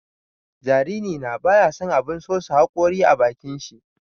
Jariri na baya son abun sosa haƙori a bakin shi.